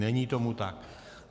Není tomu tak.